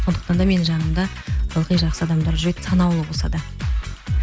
сондықтан да менің жанымда ылғи жақсы адамдар жүреді санаулы болса да